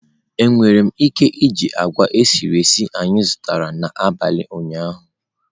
Enwere m ike iji agwa esiri esi anyị zụtara n'abalị ụnyaahụ?